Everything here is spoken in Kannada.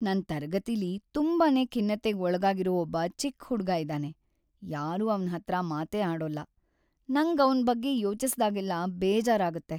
ನನ್ ತರಗತಿಲಿ ತುಂಬಾನೇ ಖಿನ್ನತೆಗ್ ಒಳಗಾಗಿರೋ ‌ಒಬ್ಬ ಚಿಕ್ಕ್ ಹುಡ್ಗ ಇದಾನೆ, ಯಾರೂ ಅವ್ನ್‌ ಹತ್ರ ಮಾತೇ ಆಡೋಲ್ಲ. ನಂಗ್ ಅವ್ನ್ ಬಗ್ಗೆ ಯೋಚಿಸ್ದಾಗೆಲ್ಲ ಬೇಜಾರಾಗತ್ತೆ.